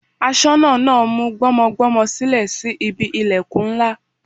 Aṣọ́nà náà mú gbọ́mọgbọ́mọ sílẹ̀ sí ibi ìlẹ̀kùn ńlá.